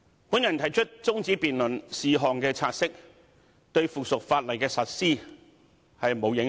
"我動議中止辯論是項"察悉議案"，對《修訂規則》的實施並無影響。